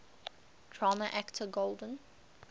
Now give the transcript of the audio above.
drama actor golden